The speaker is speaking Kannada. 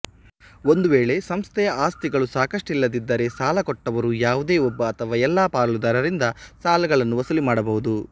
ಒಂದು ವೇಳೆ ಸಂಸ್ಥೆಯ ಆಸ್ತಿಗಳು ಸಾಕಷ್ಟಿಲ್ಲದಿದ್ದರೆ ಸಾಲಕೊಟ್ಟವರು ಯಾವುದೇ ಒಬ್ಬ ಅಥವಾ ಎಲ್ಲ ಪಾಲುದಾರರಿಂದ ಸಾಲಗಳನ್ನು ವಸೂಲು ಮಾಡಬಹುದು